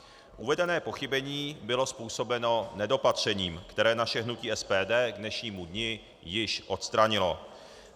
Uvedené pochybení bylo způsobeno nedopatřením, které naše hnutí SPD k dnešnímu dni již odstranilo.